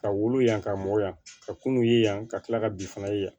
Ka wolo yan ka mɔ yan ka kunun ye yan ka tila ka bin fana ye yan